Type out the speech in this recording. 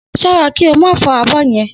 S̩ó̩ra kí o má fó̩ abó̩ ye̩n!